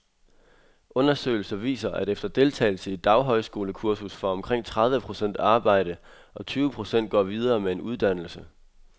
Undersøgelser viser, at efter deltagelse i et daghøjskolekursus får omkring tredive procent arbejde, og tyve procent går videre med en uddannelse.